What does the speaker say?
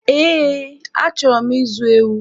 Eé, achọrọ m ịzụ ewu.